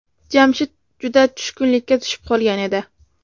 Jamshid juda tushkunlikka tushib qolgan edi.